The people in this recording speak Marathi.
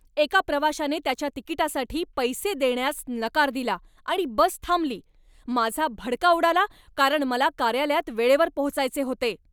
एका प्रवाशाने त्याच्या तिकिटासाठी पैसे देण्यास नकार दिला आणि बस थांबली. माझा भडका उडाला कारण मला कार्यालयात वेळेवर पोहोचायचे होते.